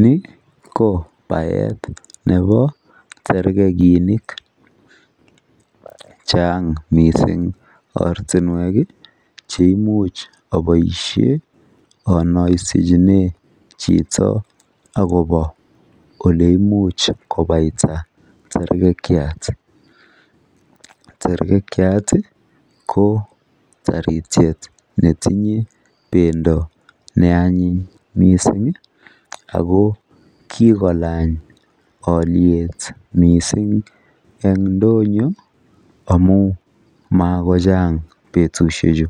Ni kobaet tab tergeginik en ortinuek cheimuche aboishen onoisichinen chito akobo oleimuch abaita tergekiat ki taritiet netinye bendo neanyin misingako kikolany aliet mising amun magochang batushechu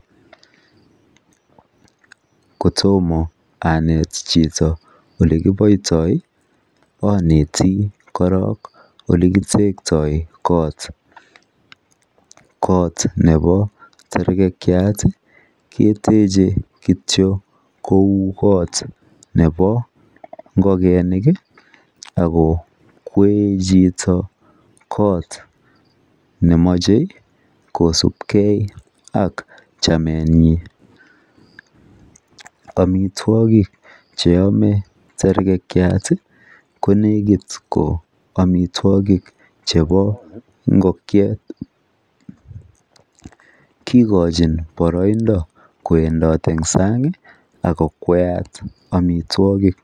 kotomo anet chito olekiboitoi oneti korong olekiboitoi TikTok kot nebo tergekiat keteche kityok kou kot nebo ngogenik akowen chito kot momoche kosupkei ak chamenyun amitwokik cheyome tergekiat ko ko omitwokik chebo ngokiet kigochin boroindo kowendot en sang ako kwayat amitwokik